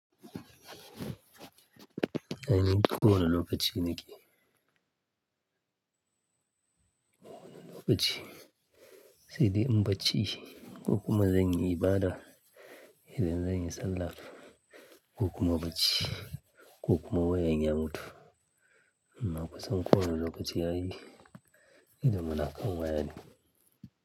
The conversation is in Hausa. Ai, ko wane lokaci nake, ko wane lokaci. Sai dai in baci, ko kuma zan yi ibada, idan zan yi sallah ko kuma baci ko kuma wayan ya mutu. Amma kusan ko wane lokaci ai, idon muna kan waya ne.